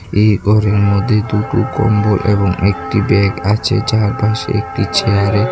এই ঘরের মধ্যে দুটো কম্বল এবং একটি ব্যাগ আছে যারপাশে একটি চেয়ারে --